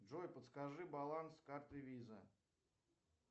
джой подскажи баланс карты виза